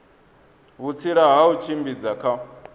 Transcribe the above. vhutsila ha u tshimbidza kha